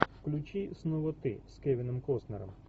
включи снова ты с кевином костнером